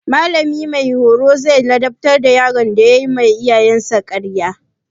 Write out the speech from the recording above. Mallamin horo zai ladabtar da yaron da yayi ma iyayensa ƙarya.